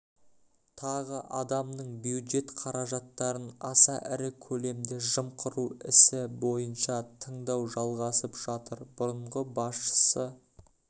тағы адамның бюджет қаражаттарын аса ірі көлемде жымқыру ісі бойынша тыңдау жалғасып жатыр бұрынғы басшысы